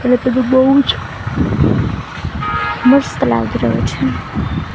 અને પેલુ બૌજ મસ્ત લાગી રહ્યો છે.